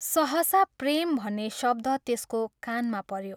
सहसा ' प्रेम ' भन्ने शब्द त्यसको कानमा पऱ्यो।